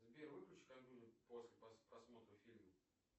сбер выключи компьютер после просмотра фильма